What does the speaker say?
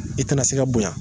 I tɛna se ka bonya